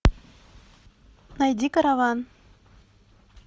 найди караван